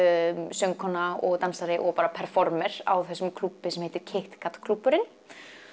söngkona og dansari og bara á þessum klúbbi sem heitir Kit Kat klúbburinn